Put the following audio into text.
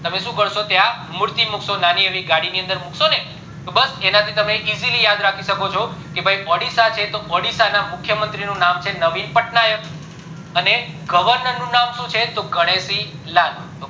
તમે શું કરશો ત્યાં મૂર્તિ મુક્શોને નાની એવી ગાડી ની અંદર મુક્શોને તો બસ એનાથી તમે easily યાદ રાખી શકશો કે ભય audio સાથે મુખ્ય મંત્રી નું નામ છે નવીન પટનાયક અને governor નું નામ શું છે ગણેશ લાલ